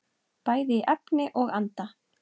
Bæði í efni og anda.